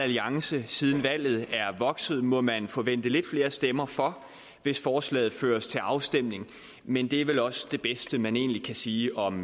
alliance siden valget er vokset må man forvente lidt flere stemmer for hvis forslaget føres til afstemning men det er vel også det bedste man egentlig kan sige om